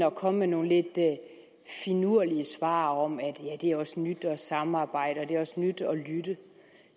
at komme med nogle lidt finurlige svar om at ja det er også nyt at samarbejde og det er også nyt at lytte